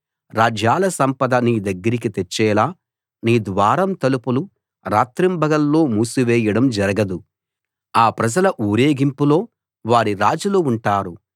రాజ్యాల సంపద నీదగ్గరికి తెచ్చేలా నీ ద్వారం తలుపులు రాత్రింబగళ్లు మూసివేయడం జరగదు ఆ ప్రజల ఊరేగింపులో వారి రాజులు ఉంటారు